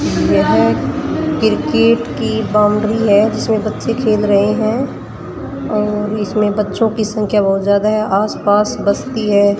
यह क्रिकेट की बाउंड्री है जिसमे बच्चे खेल रहे है अह इसमें बच्चो की संख्या बहुत ज्यादा है आस पास बस्ती है।